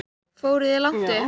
Fóruð þér langt upp?